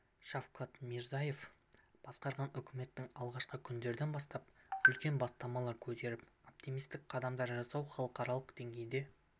шавкат мирзиеев басқарған үкіметтің алғашқы күндерден бастап үлкен бастамалар көтеріп оптимистік қадамдар жасауы халықаралық деңгейде